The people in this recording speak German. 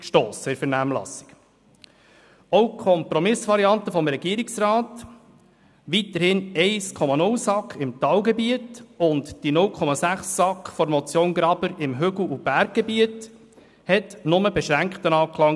Auch die Kompromissvariante des Regierungsrats, weiterhin 1,0 SAK im Talgebiet und 0,6 SAK gemäss der Motion Graber im Hügel- und Berggebiet fand nur beschränkten Anklang.